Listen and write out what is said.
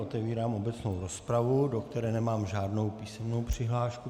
Otevírám obecnou rozpravu, do které nemám žádnou písemnou přihlášku.